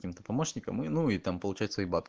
ким-то помощником и ну и там получается и бат